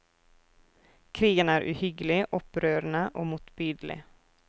Krigen er uhyggelig, opprørende og motbydelig.